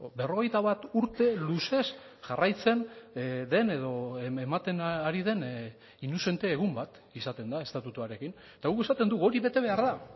berrogeita bat urte luzez jarraitzen den edo ematen ari den inuzente egun bat izaten da estatutuarekin eta guk esaten dugu hori bete behar da